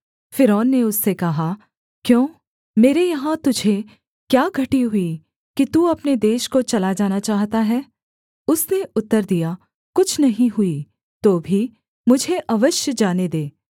फ़िरौन ने उससे कहा क्यों मेरे यहाँ तुझे क्या घटी हुई कि तू अपने देश को चला जाना चाहता है उसने उत्तर दिया कुछ नहीं हुई तो भी मुझे अवश्य जाने दे